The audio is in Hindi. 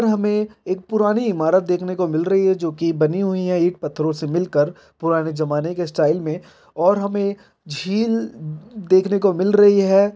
हमें एक पुरानी इमारत देखने को मिल रही है जो की बनी हुई है एक पत्थरो से मिलकर पुराने जमाने के स्टाइल में और हमें झील देखने को मिल रही है।